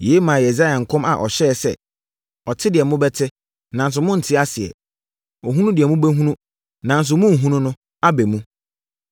Yei maa Yesaia nkɔm a ɔhyɛɛ sɛ: “ ‘Ɔte deɛ mobɛte, nanso morente aseɛ; ɔhunu deɛ mobɛhunu, nanso morenhunu no, aba mu.